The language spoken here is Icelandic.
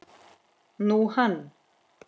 Nú, hann.